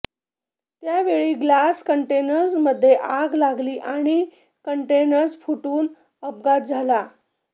यावेळी ग्लास कंडेन्सरमध्ये आग लागली आणि कंडेन्सर फुटून अपघात झाला